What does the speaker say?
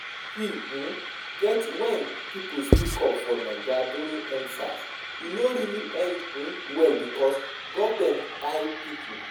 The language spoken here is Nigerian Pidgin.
see um get when pipo speak up for naija during End Sars, e no really end um well because government kpai pipo